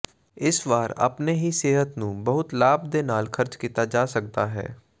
ਇਸ ਵਾਰ ਆਪਣੇ ਹੀ ਸਿਹਤ ਨੂੰ ਬਹੁਤ ਲਾਭ ਦੇ ਨਾਲ ਖਰਚ ਕੀਤਾ ਜਾ ਸਕਦਾ ਹੈ